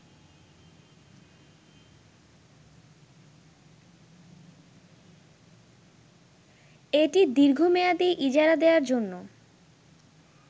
এটি দীর্ঘমেয়াদি ইজারা দেয়ার জন্য